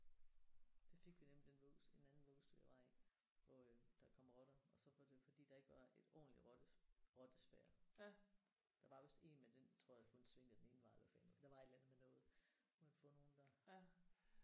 Det fik vi nemlig i den vuggestue i en anden vuggestue jeg var i hvor øh der kom rotter og så var det fordi der ikke var et ordentlig rottespærrer. Der var vist én men den tror jeg kun svingede den ene vej eller hvad fanden det var. Der var et eller andet med noget. Så kunne man få nogen der